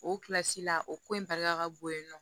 O kilasi la o ko in barika ka bon yen nɔ